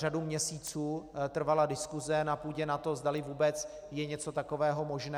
Řadu měsíců trvala diskuse na půdě NATO, zdali vůbec je něco takového možné.